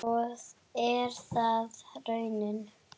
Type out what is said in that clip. Og er það raunin?